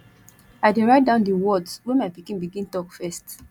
i dey write down di words wey my pikin begin talk first